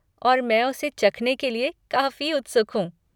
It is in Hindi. और मैं उसे चखने के लिए काफ़ी उत्सुक हूँ।